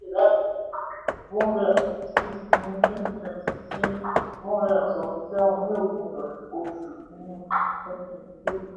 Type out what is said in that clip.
one hundred and fifty six ní twenty twenty sí one hundred and seventy seven ní òpin oṣù kìíní twenty twenty three.